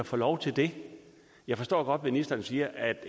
få lov til det jeg forstår godt at ministeren siger at